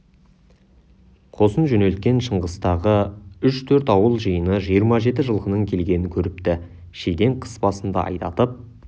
қосын жөнелткен шыңғыстағы үш-төрт ауыл жиыны жиырма жеті жылқының келгенін көріпті шиден қыс басында айдатып